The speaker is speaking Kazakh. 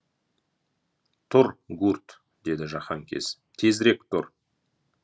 тұр гурт деді жаһанкез тезірек тұр